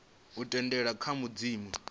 u tendelana kha madzina a